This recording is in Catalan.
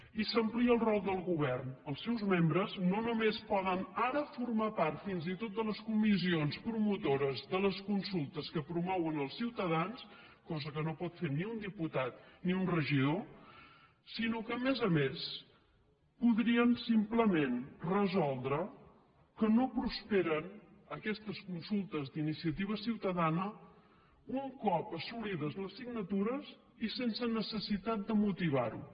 i s’amplia el rol del govern els seus membres no només poden ara formar part fins i tot de les comissions promotores de les consultes que promouen els ciutadans cosa que no pot fer ni un diputat ni un regidor sinó que a més a més podrien simplement resoldre que no prosperen aquestes consultes d’iniciativa ciutadana un cop assolides les signatures i sense necessitat de motivar ho